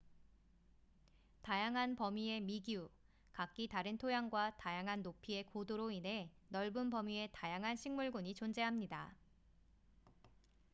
다양한 범위의 미기후 각기 다른 토양과 다양한 높이의 고도로 인해 넓은 범위의 다양한 식물 군이 존재합니다